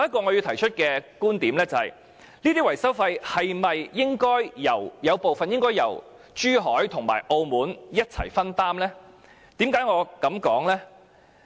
我提出的另一觀點是，這些維修費用是否應該由珠海和澳門分擔部分呢？